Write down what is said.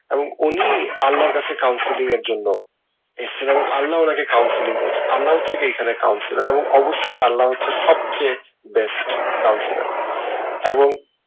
এবং উনি আল্লাহর কাছে counseling এর জন্য এসেছেন এবং আল্লাহ ওনাকে counseling করসে আল্লাহ হচ্ছে এখানে counselor এবং অবশ্যই আল্লাহ হচ্ছে সবচেয়ে best counselor এবং